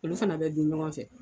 Olu fana bɛ dun ɲɔgɔn fɛ.